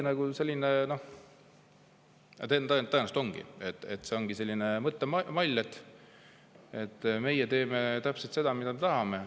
Aga võib-olla, tõenäoliselt see ongi selline mõttemall, et meie teeme täpselt seda, mida tahame.